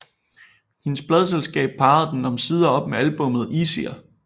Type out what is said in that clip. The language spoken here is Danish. Hendes pladeselskab parrede den omsider op med albummet Easier